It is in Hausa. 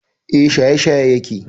E, shaye-shaye yake.